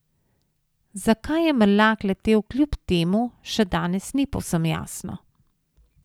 Zakaj je Mrlak letel kljub temu, še danes ni povsem jasno.